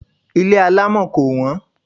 Ilé alámọ̀ kò wọ́n.